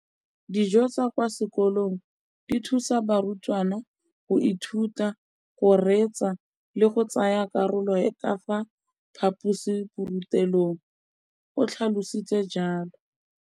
Dijo tsa kwa sekolong dithusa barutwana go ithuta, go reetsa le go tsaya karolo ka fa phaposiborutelong, o tlhalositse jalo.